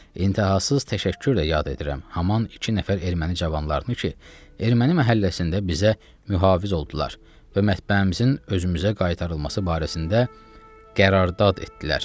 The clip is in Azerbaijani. İntəhasız təşəkkürlə yad edirəm aman iki nəfər erməni cavanlarını ki, erməni məhəlləsində bizə mühafiz oldular və mətbəəmizin özümüzə qaytarılması barəsində qərardad etdilər.